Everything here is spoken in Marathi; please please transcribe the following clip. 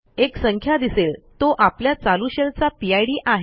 एक संख्या दिसेल तो आपल्या चालू शेल चा पिड आहे